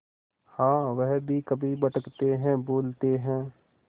हाँ वह भी कभी भटकते हैं भूलते हैं